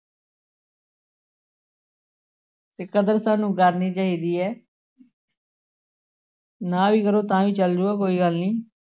ਤੇ ਕਦਰ ਸਾਨੂੰ ਕਰਨੀ ਚਾਹੀਦੀ ਹੈ ਨਾ ਵੀ ਕਰੋ ਤਾਂ ਵੀ ਚੱਲ ਜਾਊਗਾ ਕੋਈ ਗੱਲ ਨੀ।